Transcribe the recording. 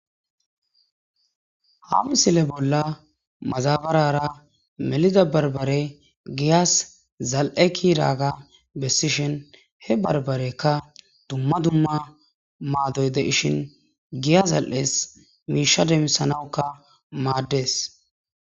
hamisile bolla mazabarara melida barbare giyas zal7e kiraaga bessishin he barbarekka dumma dumma maadoy de ishin giya zal7es miisha demisanawukka maaddees